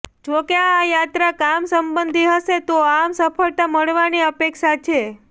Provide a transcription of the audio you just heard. જોકે આ યાત્રા કામ સંબંધી હશે તો આમ સફળતા મળવા ની અપેક્ષા છે